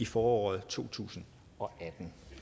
foråret to tusind og atten